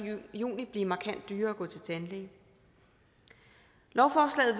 juni blive markant dyrere at gå til tandlæge lovforslaget